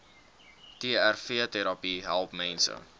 trvterapie help mense